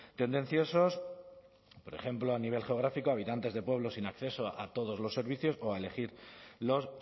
tendenciosos por ejemplo a nivel geográfico habitantes de pueblos sin acceso a todos los servicios o a elegir los